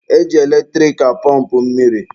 E ji eletrik apọmpụ mmiri.